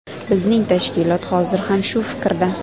Bizning tashkilot hozir ham shu fikrda.